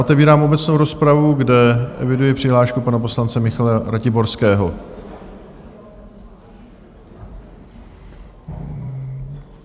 Otevírám obecnou rozpravu, kde eviduji přihlášku pana poslance Michala Ratiborského.